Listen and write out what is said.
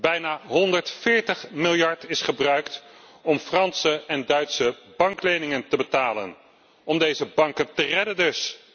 Bijna 140 miljard is gebruikt om Franse en Duitse bankleningen te betalen, om deze banken te redden dus.